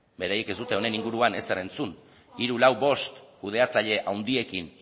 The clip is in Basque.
beraiek ez dute honen inguruan ezer entzun hiru lau bost kudeatzaile handiekin